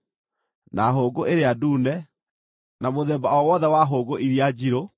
na hũngũ ĩrĩa ndune, na mũthemba o wothe wa hũngũ iria njirũ,